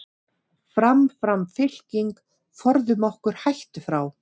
Fram, fram fylking, forðum okkur hættu frá.